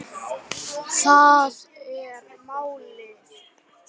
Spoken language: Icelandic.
Það er málið